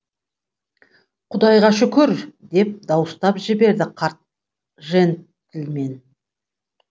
құдайға шүкір деп дауыстап жіберді қарт жентльмен